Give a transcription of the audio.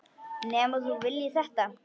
Nema þú viljir þetta?